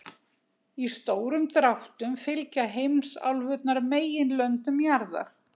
Í stórum dráttum fylgja heimsálfurnar meginlöndum jarðar.